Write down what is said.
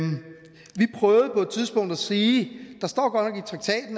tidspunkt at sige